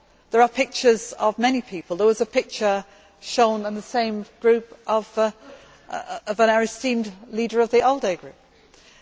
There are pictures of many people. There was a picture shown in the same group of our esteemed ALDE Group leader.